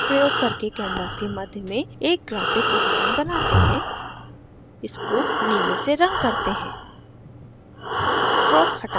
bezier tool प्रयोग करके canvas के मध्य में एक graphic उदाहरण बनाते हैं इसको नीले से रंग करते हैं